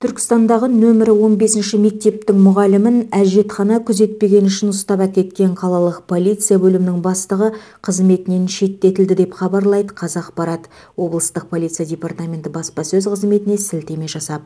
түркістандағы нөмірі он бесінші мектептің мұғалімін әжетхана күзетпегені үшін ұстап әкеткен қалалық полиция бөлімінің бастығы қызметінен шеттетілді деп хабарлайды қазақпарат облыстық полиция департаменті баспасөз қызметіне сілтеме жасап